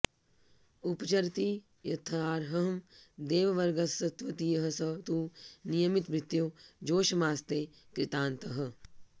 उपचरति यथार्हं देववर्गस्त्वदीयः स तु नियमितभृत्यो जोषमास्ते कृतान्तः